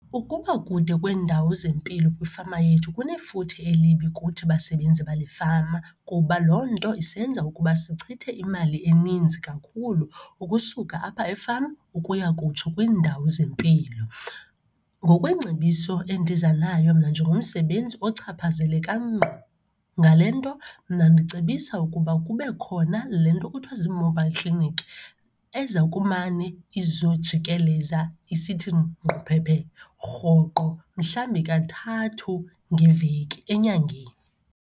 Ukuba kude kweendawo zempilo kwifama yethu kunefuthe elibi kuthi basebenzi balefama kuba loo nto isenza ukuba sichithe imali eninzi kakhulu ukusuka apha efama ukuya kutsho kwiindawo zempilo. Ngokweengcebiso endiza nayo mna njengomsebenzi ochaphazeleka ngqo ngale nto, mna ndicebisa ukuba kube khona le nto kuthiwa zi-mobile clinic eza kumane izojikeleza isithi ngquphephe rhoqo mhlawumbi kathathu ngeveki enyangeni.